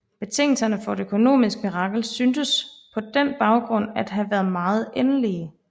Betingelserne for et økonomisk mirakel syntes på den baggrund at have været meget elendige